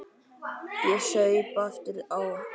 Ég saup aftur á.